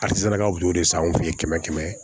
A sera ka guwere san anw fɛ yen kɛmɛ kɛmɛ